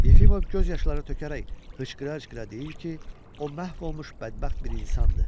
Yefimov göz yaşları tökərək hıçqıra-hıçqıra deyir ki, o məhv olmuş bədbəxt bir insandır.